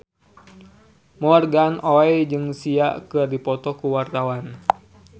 Morgan Oey jeung Sia keur dipoto ku wartawan